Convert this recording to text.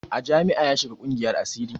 A jami'a ya shiga ƙungiyar asiri